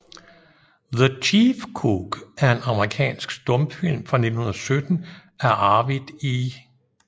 The Chief Cook er en amerikansk stumfilm fra 1917 af Arvid E